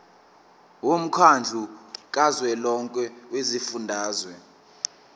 womkhandlu kazwelonke wezifundazwe